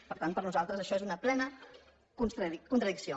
per tant per nosaltres això és una plena contradicció